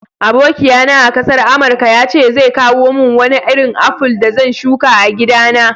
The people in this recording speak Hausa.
Abokiya na a'kasar amarka ya ce zai kawo mun Wani irin aful da zan shuka a'gida na.